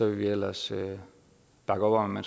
vi ellers bakke op om at